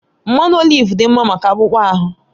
Mmanụ oliv dị mma maka akpụkpọ ahụ